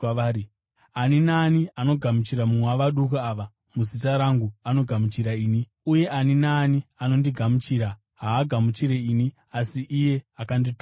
“Ani naani anogamuchira mumwe wavaduku ava muzita rangu anogamuchira ini; uye ani naani anondigamuchira haagamuchiri ini asi iye akandituma.”